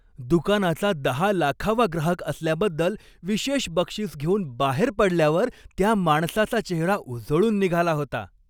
दुकानाचा दहा लाखावा ग्राहक असल्याबद्दल विशेष बक्षीस घेऊन बाहेर पडल्यावर त्या माणसाचा चेहरा उजळून निघाला होता.